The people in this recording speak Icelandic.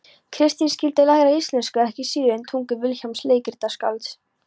Kristín skyldi læra íslensku ekki síður en tungu Vilhjálms leikritaskálds.